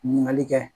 Ɲininkali kɛ